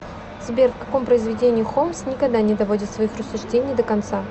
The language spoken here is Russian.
сбер в каком произведении холмс никогда не доводит своих рассуждений до конца